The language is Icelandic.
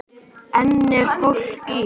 Enn er fólk í